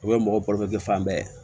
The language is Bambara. O ye mɔgɔ fan bɛɛ ye